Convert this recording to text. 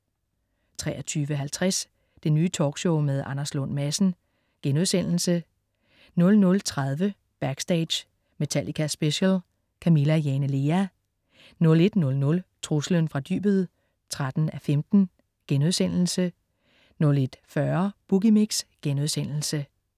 23.50 Det Nye Talkshow med Anders Lund Madsen* 00.30 Backstage: Metallica Special. Camilla Jane Lea 01.00 Truslen fra dybet 13:15* 01.40 Boogie Mix*